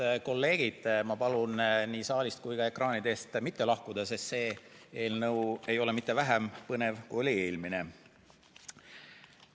Head kolleegid, ma palun nii saalist kui ekraanide eest mitte lahkuda, sest see eelnõu ei ole vähem põnev, kui oli eelmine.